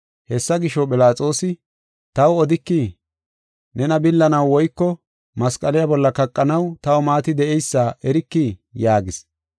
Hessa gisho, Philaxoosi, “Taw odikii? Nena billanaw woyko masqaliya bolla kaqanaw taw maati de7eysa erikii?” yaagis.